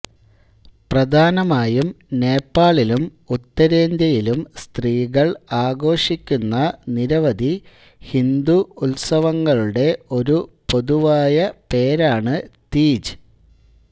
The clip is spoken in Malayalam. പ്രധാനമായും നേപ്പാളിലും ഉത്തരേന്ത്യയിലും സ്ത്രീകൾ ആഘോഷിക്കുന്ന നിരവധി ഹിന്ദു ഉത്സവങ്ങളുടെ ഒരു പൊതുവായ പേരാണ് തീജ്